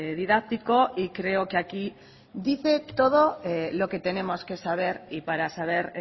didáctico y creo que aquí dice todo lo que tenemos que saber y para saber